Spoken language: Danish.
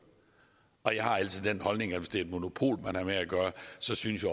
og jeg har altså den holdning at hvis det er et monopol man har med at gøre synes synes